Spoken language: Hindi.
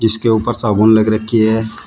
इसके ऊपर साबुन लग रखी है।